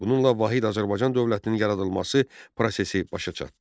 Bununla Vahid Azərbaycan dövlətinin yaradılması prosesi başa çatdı.